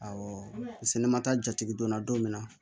Awɔ sɛnɛ ma taa jatigi donna don min na